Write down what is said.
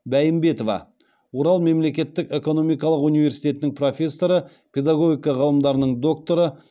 бәйімбетова урал мемлекеттік экономикалық университетінің профессоры педагогика ғылымдарының докторы